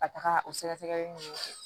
Ka taga o sɛgɛsɛgɛli nun kɛ